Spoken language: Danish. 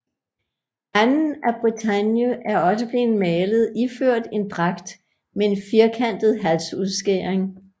Anne af Bretagne er også blevet malet iført en dragt med en firkantet halsudskæring